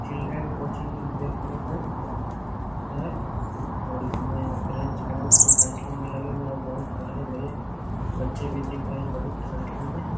Children coaching देखने को है और इसमें ब्रेंच बहुत संख्यो में लगे हुए है और बहुत हरे-भरे बच्चे भी दिख रहे है बहुत संख्यो में।